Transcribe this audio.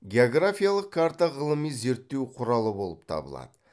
географиялық карта ғылыми зерттеу құралы болып табылады